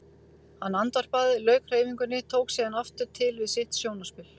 Hann andvarpaði, lauk hreyfingunni, tók síðan aftur til við sitt sjónarspil.